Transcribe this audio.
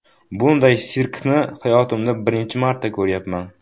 Bunday sirkni hayotimda birinchi marta ko‘ryapman.